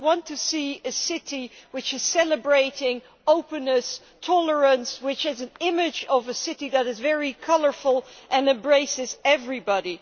I want to see a city which is celebrating openness and tolerance, which is an image of a city that is very colourful and embraces everybody.